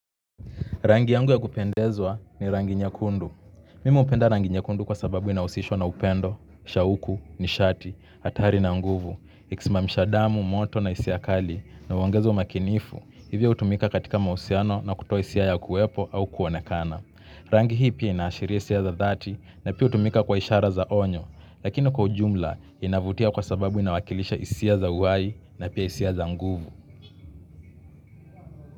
Rangi yangu ya kupendezwa ni rangi nyekundu. Mimu hupenda rangi nyekundu kwa sababu inahusishwa na upendo, shauku, nishati, hatari na nguvu. Ikisimamishia damu, moto na hisia kali na uongeze umakinifu. Hivyo hutumika katika mahusiano na kutoa hisia ya kuwepo au kuonekana. Rangi hii pia inaashiria hisia za dhati na pia hutumika kwa ishara za onyo. Lakini kwa ujumla inavutia kwa sababu inawakilisha hisia za uhai na pia hisia za nguvu.